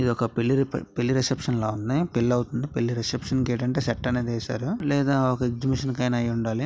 ఇది ఒక పె-పెళ్ళి రిపే_రిసెప్షన్ ఉంది. పెళ్ళి అవుతుంది. పెళ్ళి రిసెప్షన్ కి ఏంటంటే సెట్ అనేది ఏసారు. లేదా ఒక ఎగ్జిబిషన్ కి అయిన అయ్యుండాలి.